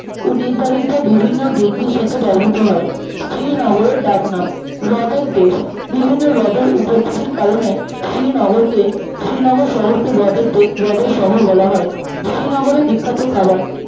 ও নির্ধারিত বিভিন্ন degree র সাথে ব্যবহার করা হয় শ্রীনগরের ডাকনাম হ্রদের দেশ বিভিন্ন হ্রদের উপস্থিতির কারণে শ্রীনগরকে শ্রীনগর শহরকে হ্রদের দে হ্রদের শহর বলা হয় শ্রীনগরের বিখ্যাত খাবার